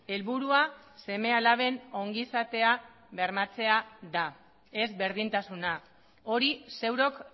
helburua seme alaben ongizatea bermatzea da ez berdintasuna hori zeurok